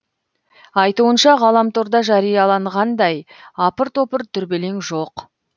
айтуынша ғаламторда жарияланғандай апыр топыр дүрбелең жоқ